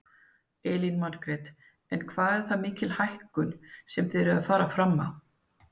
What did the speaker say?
Elín Margrét: En hvað er það mikil hækkun sem þið eruð að fara fram á?